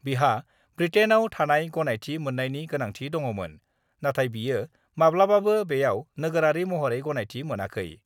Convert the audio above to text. बिहा ब्रिटेइनाव थानाय गनायथि मोन्नायनि गोनांथि दङमोन, नाथाय बियो माब्लाबाबो बेयावनि नोगोरारि महरै गनायथि मोनाखै।